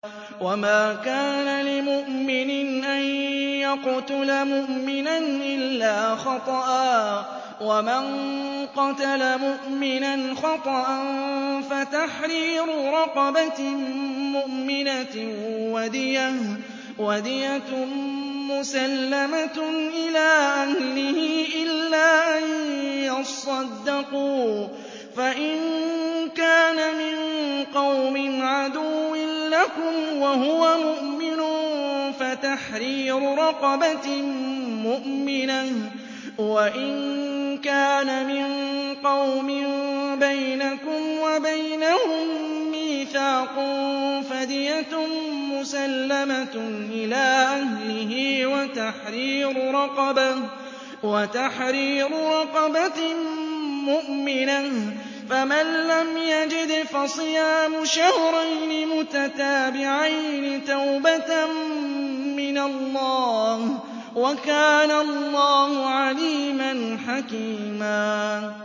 وَمَا كَانَ لِمُؤْمِنٍ أَن يَقْتُلَ مُؤْمِنًا إِلَّا خَطَأً ۚ وَمَن قَتَلَ مُؤْمِنًا خَطَأً فَتَحْرِيرُ رَقَبَةٍ مُّؤْمِنَةٍ وَدِيَةٌ مُّسَلَّمَةٌ إِلَىٰ أَهْلِهِ إِلَّا أَن يَصَّدَّقُوا ۚ فَإِن كَانَ مِن قَوْمٍ عَدُوٍّ لَّكُمْ وَهُوَ مُؤْمِنٌ فَتَحْرِيرُ رَقَبَةٍ مُّؤْمِنَةٍ ۖ وَإِن كَانَ مِن قَوْمٍ بَيْنَكُمْ وَبَيْنَهُم مِّيثَاقٌ فَدِيَةٌ مُّسَلَّمَةٌ إِلَىٰ أَهْلِهِ وَتَحْرِيرُ رَقَبَةٍ مُّؤْمِنَةٍ ۖ فَمَن لَّمْ يَجِدْ فَصِيَامُ شَهْرَيْنِ مُتَتَابِعَيْنِ تَوْبَةً مِّنَ اللَّهِ ۗ وَكَانَ اللَّهُ عَلِيمًا حَكِيمًا